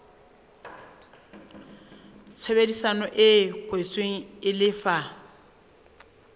tshebedisano e kwetsweng e lefa